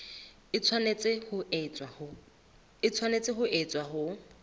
e tshwanetse ho etswa ho